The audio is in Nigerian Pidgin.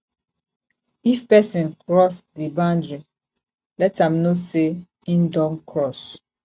if person cross di boundry let am know sey im don cross